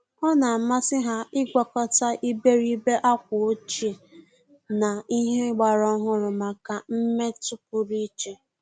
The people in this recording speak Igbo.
Ọ́ nà-àmàsị́ há ị́gwakọta ìbèrìbè ákwà ọ́chíè na ìhè ọ́gbàrà ọ́hụ́rụ́ màkà mmètụ́ pụrụ iche.